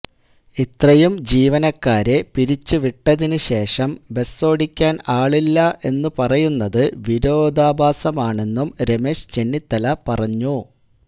ഇത്രയും ജീവനക്കാരെ പിരിച്ചുവിട്ടതിന് ശേഷം ബസോടിക്കാന് ആളില്ല എന്ന് പറയുന്നത് വിരോധാഭാസമാണെന്നും രമേശ് ചെന്നിത്തല പറഞ്ഞു